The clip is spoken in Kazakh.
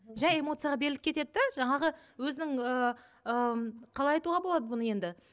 жай эмоцияға беріліп кетеді де жаңағы өзінің ііі қалай айтуға болады бұны енді